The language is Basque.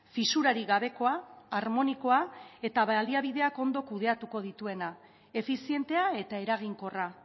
fisurarik gabekoa harmonikoa eta baliabideak ondo kudeatuko dituena efizientea eta eraginkorra